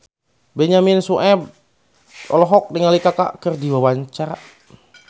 Benyamin Sueb olohok ningali Kaka keur diwawancara